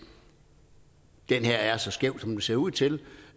den her er så skæv som den ser ud til